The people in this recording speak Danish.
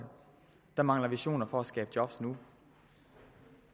der mangler visioner for at skabe job nu